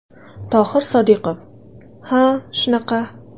Tohir Sodiqov: Ha shunaqa.